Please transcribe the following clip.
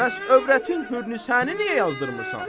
Bəs övrətin Hürnisəni niyə yazdırmırsan?